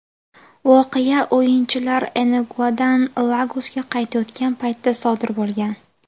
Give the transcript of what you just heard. Voqea o‘yinchilar Enugudan Lagosga qaytayotgan paytda sodir bo‘lgan.